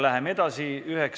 Läheme edasi!